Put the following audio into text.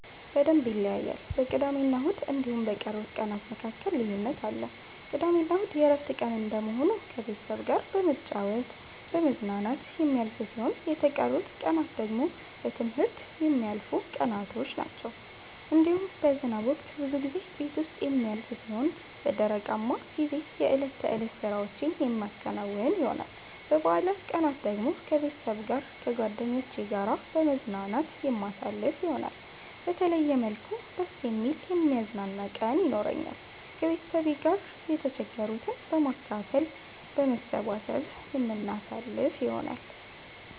በደምብ ይለያያል በቅዳሜና እሁድ እንዲሁም በቀሩት ቀናት መካከል ልዩነት አለ። ቅዳሜና እሁድ የእረፍት ቀን እንደመሆኑ ከቤተሰብ ጋራ በመጫወት በመዝናናት የሚያልፍ ሲሆን የተቀሩት ቀናት ደግሞ በትምህርት የሚያልፉቀናቶች ናቸዉ። እንዲሁም በዝናብ ወቅት ብዙ ጊዜ ቤት ዉስጥ የሚያልፍ ሲሆን በደረቃማ ጊዜ የእለት ተእለት ስራዎቼን የማከናዉን ይሆናል። በበአላት ቀናት ደግሞ ከቤተሰብ ጋር ከጓደኜቼ ጋራ በመዝናናት የማሳልፍ ይሆናል። በተለየ መልኩ ደስ የሚል የሚያዝናና ቀን የኖራኛል። ከቤተሰብ ጋር የተቸገሩትን በማካፈል በመሰባሰብ የምናሳልፍ ይሆናል።